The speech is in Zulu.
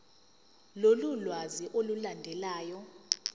lolu lwazi olulandelayo